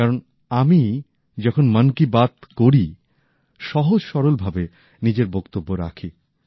কারন আমি আমি যখন মন কি বাত করি সহজ সরল ভাবে নিজের বক্তব্য রাখি